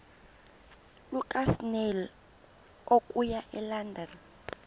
lukasnail okuya elondon